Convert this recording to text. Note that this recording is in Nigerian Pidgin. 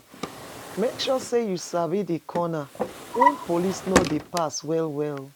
Make sure say you sabi di corners wey police no de pass well well